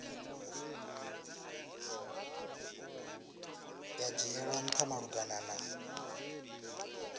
ya dzhielwa ntha malugana na